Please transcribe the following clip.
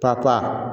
Ta ta